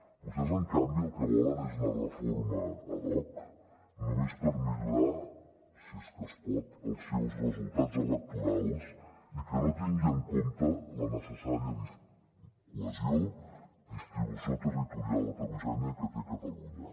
vostès en canvi el que volen és una reforma ad hoc només per millorar si és que es pot els seus resultats electorals i que no tingui en compte la necessària cohesió distribució territorial heterogènia que té catalunya